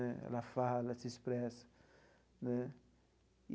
Né ela fala, ela se expressa né.